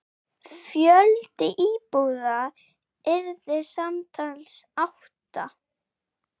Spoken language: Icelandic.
Fjöldi íbúða yrði samtals átta.